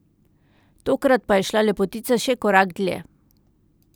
Tokrat pa je šla lepotica še korak dlje ...